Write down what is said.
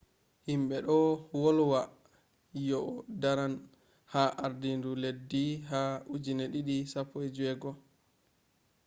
himɓe ɗon wolwa yo'o daran ha ardinu leddi ha 2016